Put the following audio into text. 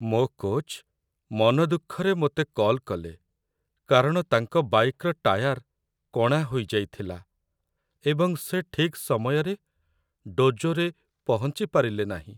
ମୋ କୋଚ୍‌ ମନ ଦୁଃଖରେ ମୋତେ କଲ୍ କଲେ କାରଣ ତାଙ୍କ ବାଇକ୍‌ର ଟାୟାର୍ କଣା ହୋଇଯାଇଥିଲା ଏବଂ ସେ ଠିକ୍ ସମୟରେ ଡୋଜୋରେ ପହଞ୍ଚି ପାରିଲେ ନାହିଁ।